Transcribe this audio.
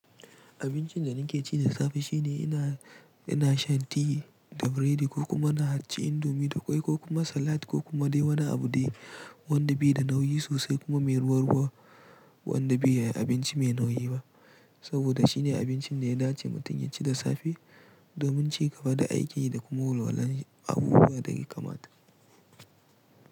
Abincin da nake ci da safe shine ina, ina shan tea da biredi ko kuma na halicci indomi da ƙwai ko kuma salat ko kuma dai wani abu dai wanda bi da nauyi sosai kuma mai ruwa ruwa wanda bi ya yi abinci mai nauyi ba. Saboda shine abincin da ya dace mutum ya ci da safe domin shin gaba da aiki da kuma walwala abubuwa da ke kamata.